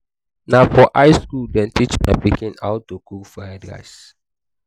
na for high skool dem teach my pikin how do cook fried rice.